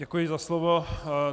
Děkuji za slovo.